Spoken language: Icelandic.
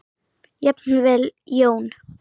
Jafnvel Jón